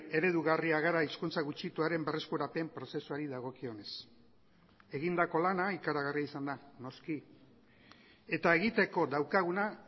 eredugarria gara hizkuntza gutxituaren berreskurapen prozesuari dagokionez egindako lana ikaragarria izan da noski eta egiteko daukaguna